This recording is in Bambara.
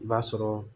I b'a sɔrɔ